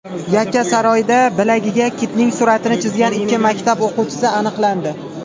Yakkasaroyda bilagiga kitning suratini chizgan ikki maktab o‘quvchisi aniqlandi.